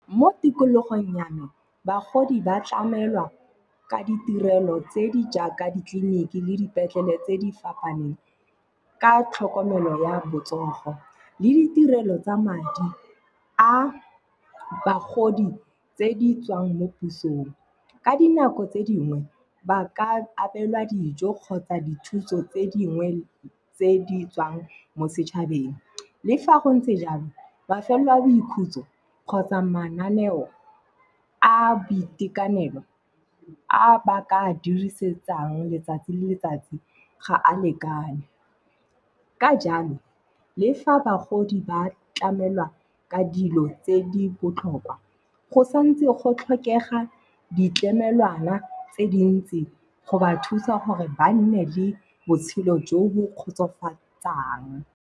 Mo tikologong ya me, bagodi ba tlamelwa ka ditirelo tse di jaaka ditleliniki le dipetlele tse di fapaneng, ka tlhokomelo ya botsogo le ditirelo tsa madi a bagodi tse di tswang mo pusong. Ka dinako tse dingwe, ba ka abelwa dijo kgotsa dithuso tse dingwe tse di tswang mo setšhabeng. Le fa go ntse jalo, mafelo a boikhutso kgotsa mananeo a boitekanelo a ba ka a dirisetsang letsatsi le letsatsi ga a lekane. Ka jalo, le fa bagodi ba tlamelwa ka dilo tse di botlhokwa go santse go tlhokega ditlamelwana tse dintsi go ba thusa gore ba nne le botshelo jo bo kgotsofatsang.